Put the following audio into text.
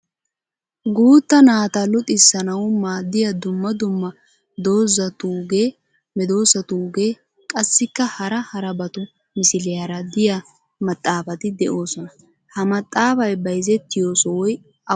Guutta naata luxissanawu maaddiya dumma dumma doozatuugee, medoosatuugee qassikka hara harabatu misiliyaara diya maxaafati de'oosona. Ha maxaafay bayzzettiyo Sohoy awaanee?